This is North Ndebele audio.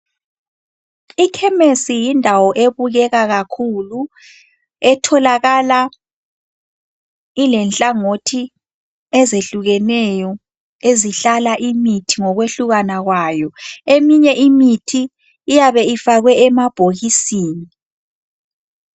Ikhemesi yindawo ebukeka kakhulu, etholakala ilenhlangothi ezehlukeneyo ezihlala imithi ngokwehlukana kwayo. Eminye imithi iyabe ifakwe emabhokisini.